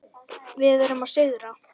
Við erum að sigra.